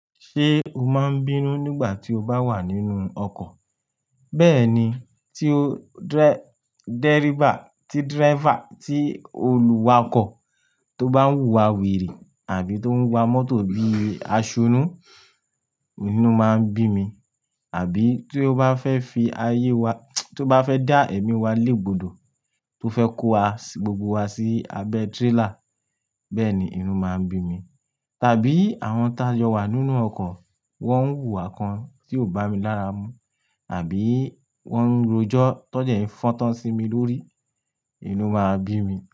Ṣé o máa ń bínú nígbà tí o bá wà nínú ọkọ̀? Bẹ́ẹ̀ni, tí o dẹ́ríbà tí draifa, tí olùwakọ̀ tó bá ń wùwà wèrè àbí tó ń wa mọ́tò bí aṣunú, inú máa ń bí mi. Àbí tí o bá fẹ́ fi ayé wa, tí ó bá fẹ́ dá ẹ̀mí wa légbodó, tó fẹ́ kó wa gbogbo wa sí abẹ́ tírelà, bẹ́ẹ̀ni, inú máa ń bí mi. Tàbí àwọn táa jọ̀ wà nínú ọkọ̀, wọ́n ń wùwà kan tí o bá mi lára mú, àbí wọ́n ń rojọ́ tó jẹ́ ń fọ́n'to sí mi lórí, inú máa ń bí mi.